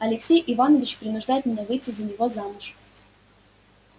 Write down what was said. алексей иванович принуждает меня выйти за него замуж